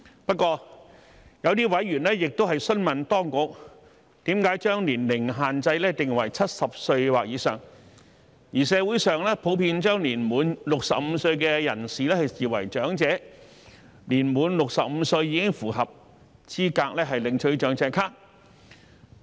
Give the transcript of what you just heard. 不過，有些委員亦詢問當局為甚麼將年齡限制設定為70歲或以上，而社會上普遍將年滿65歲的人士視為長者，年滿65歲已符合資格領取長者咭。